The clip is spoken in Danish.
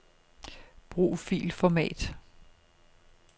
Brug filformat.